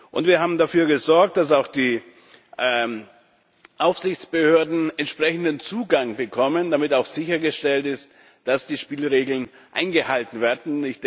Und wir haben dafür gesorgt, dass auch die Aufsichtsbehörden entsprechenden Zugang bekommen, damit auch sichergestellt ist, dass die Spielregeln eingehalten werden.